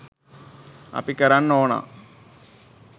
අපි කරන්න ඕනා